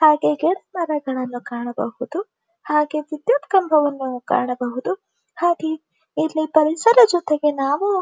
ಹಾಗೆ ಗಿಡ ಮರಗಳನ್ನು ಕಾಣಬಹುದುಹಾಗೆ ವಿದ್ಯುತ್ ಕಂಬವನ್ನು ಕಾಣಬಹುದು ಹಾಗೆ ಇಲ್ಲಿ ಪರಿಸರ ಜೊತೆಗೆ ನಾವು--